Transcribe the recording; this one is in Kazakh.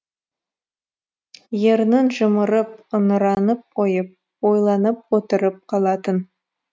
ернін жымырып ыңыранып қойып ойланып отырып қалатын